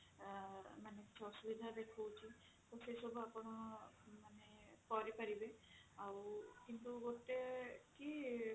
ମାନେ କିଛି ଅସୁବିଧା ଦେଖଉଛି ତ ସେ ସବୁ ଆପଣ ମାନେ କରିପାରିବେ ଆଉ କିନ୍ତୁ ଗୋଟେ କି